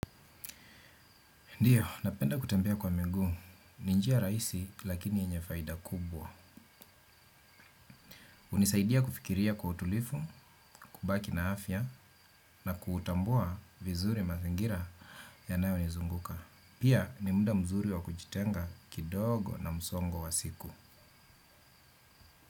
Ndio, napenda kutembea kwa miguu, ni njia rahisi lakini yenye faida kubwa. Hunisaidia kufikiria kwa utulivu, kubaki na afya na kutambua vizuri mazingira yanayonizunguka. Pia ni muda mzuri wa kujitenga kidogo na msongo wa siku.